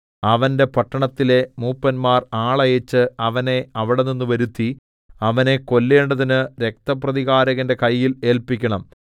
അവന്റെ പട്ടണത്തിലെ മൂപ്പന്മാർ ആളയച്ച് അവനെ അവിടെനിന്നു വരുത്തി അവനെ കൊല്ലേണ്ടതിന് രക്തപ്രതികാരകന്റെ കയ്യിൽ ഏല്പിക്കണം